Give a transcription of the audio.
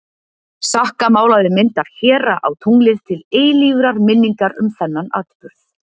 Sakka málaði mynd af héra á tunglið til eilífrar minningar um þennan atburð.